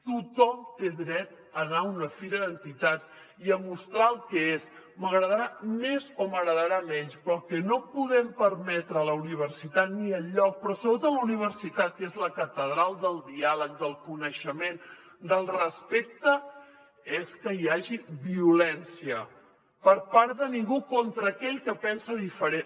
tothom té dret a anar a una fira d’entitats i a mostrar el que és m’agradarà més o m’agradarà menys però el que no podem permetre a la universitat ni enlloc però sobretot a la universitat que és la catedral del diàleg del coneixement del respecte és que hi hagi violència per part de ningú contra aquell que pensa diferent